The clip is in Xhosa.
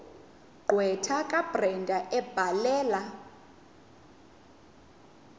gqwetha kabrenda ebhalela